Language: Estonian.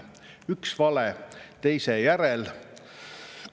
Üks vale teise järel.